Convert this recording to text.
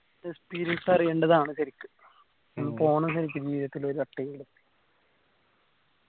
experience അറിയേണ്ടതാണ് ശരിക്കും പോണം ശരിക്കും ജീവിതത്തിൽ ഒരു വട്ടമെങ്കിലും